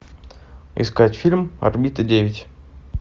искать фильм орбита девять